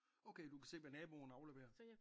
Okay du kan se hvad naboen afleverer?